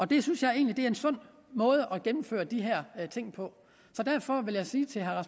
det synes jeg egentlig er en sund måde at gennemføre de her ting på så derfor vil jeg sige til herre